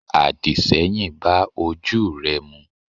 àdìṣẹ́yìn bá ojú re mu.